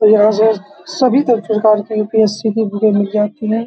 यहाँ पर सभी पर प्रकार की यू.पी.एस.सी. की बुकें मिल जाती हैं।